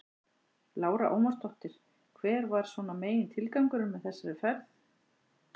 Lára Ómarsdóttir: Hver var svona megintilgangurinn með þessari ferð?